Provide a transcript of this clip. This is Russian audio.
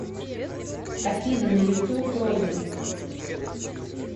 афина на ютуб робин